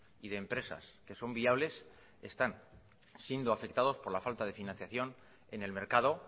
y de empresas que son viables están siendo afectados por la falta de financiación en el mercado